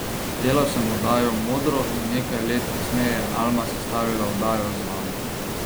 Delal sem oddajo Modro in nekaj let kasneje je Alma sestavila oddajo Z vami.